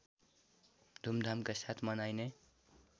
धुमधामका साथ मनाइने